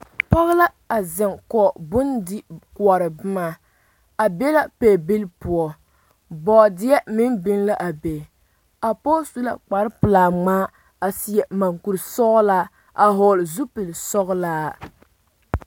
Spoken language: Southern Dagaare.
Pɔge la a zeŋ kɔge Bondi koɔrɔ boma a ne la pɔɔbilii poɔ boɔdeɛ meŋ biŋ la a be a pɔge su la kpar pelaa ŋmaa a seɛ mɔŋkuri sɔgelaa a hɔgele zupili sɔgelaa